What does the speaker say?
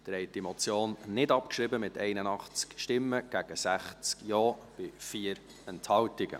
Sie haben die Motion nicht abgeschrieben, mit 81 Nein- gegen 60 Ja-Stimmen bei 4 Enthaltungen.